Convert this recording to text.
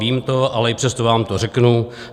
Vím to, ale i přesto vám to řeknu.